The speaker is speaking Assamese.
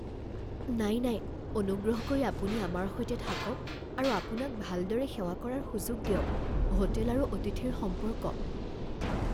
নাই নাই অনুগ্ৰহ কৰি আপুনি আমাৰ সৈতে থাকক আৰু আপোনাক ভালদৰে সেৱা কৰাৰ সুযোগ দিয়ক হোটেল আৰু অতিথিৰ সম্পৰ্ক